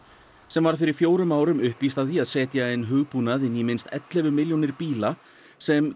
sem varð fyrir fjórum árum uppvíst að því að setja inn hugbúnað inn í minnst ellefu milljónir bíla sem